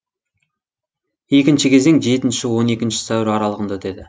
екінші кезең жетінші он екінші сәуір аралығында өтеді